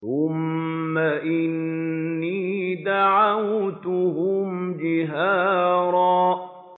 ثُمَّ إِنِّي دَعَوْتُهُمْ جِهَارًا